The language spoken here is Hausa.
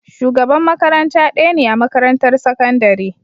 Shugaban makaranta ɗaya ne a makarantar sakandare.